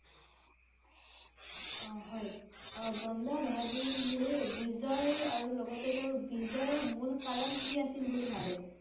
অ হয়। আহ বন্ধ বাহাদুৰ জীৰ বি~জয় আৰু লগতে তেওঁৰ বিজয়~ৰ মূল কাৰণ কি আছিল বুলি ভাবে?